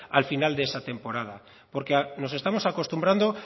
al final de esa temporada porque nos estamos acostumbrando